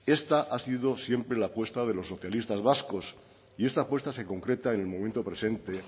esta ha sido siempre la apuesta de los socialistas vascos y esta puesta se concreta en el momento presente